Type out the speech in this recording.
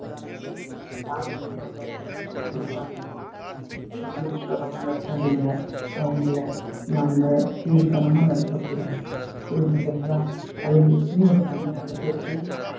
அதனால யாருமே மரியாதை குறைவா நடத்தாதீங்க அவங்களை நம்ம கீழ்தனமா நடத்தக்கூடாது புரிஞ்சுதுங்களா அதுங்களுக்குன்னு ஒரு தனி அழகு இருக்கு